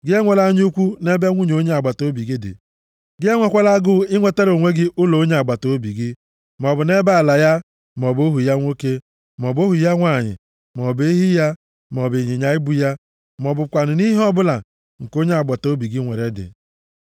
Gị enwela anya ukwu nʼebe nwunye onye agbataobi gị dị. Gị enwekwala agụụ inwetara onwe gị ụlọ onye agbataobi gị, maọbụ nʼebe ala ya, maọbụ ohu ya nwoke, maọbụ ohu ya nwanyị, maọbụ ehi ya, maọbụ ịnyịnya ibu ya, ma ọ bụkwanụ nʼihe ọbụla nke onye agbataobi nwere dị.”